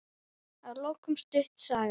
Að lokum stutt saga.